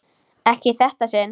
Ekki í þetta sinn.